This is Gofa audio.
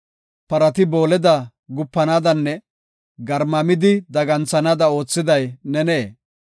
Parati booleda gupanaadanne garmamidi daganthanaada oothiday nenee?